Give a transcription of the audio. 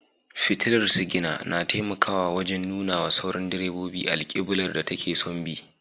Fitilar sigina na taimakawa wajen nuna wa sauran direbobi alkiblar da take son bi.